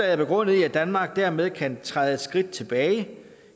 er begrundet i at danmark dermed kan træde et skridt tilbage